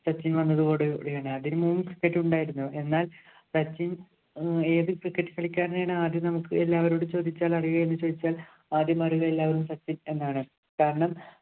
സച്ചിന്‍ വന്നതോട് കൂടിയാണ്. അതിനു മുമ്പും cricket ഉണ്ടായിരുന്നു. എന്നാല്‍ സച്ചിന്‍ ഏത് cricket കളിക്കാരനെയാണ് ആദ്യം നമുക്ക് എല്ലാവരോടും ചോദിച്ചാൽ അറിയുക എന്ന് ചോദിച്ചാല്‍ ആദ്യം അറിയുക എല്ലാവരും സച്ചിന്‍ എന്നാണ്. കാരണം,